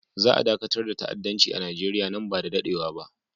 Za a dakatar da ta'addanci a Nigeriya nan ba da daɗewa ba.